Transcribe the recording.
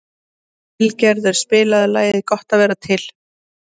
Vilgerður, spilaðu lagið „Gott að vera til“.